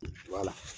Wala